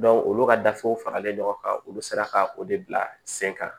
olu ka gafew faralen ɲɔgɔn kan olu sera ka o de bila sen kan